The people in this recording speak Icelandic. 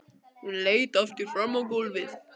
Hún leit aftur fram á gólfið.